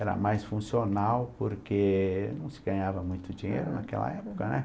Era mais funcional porque não se ganhava muito dinheiro naquela época, né?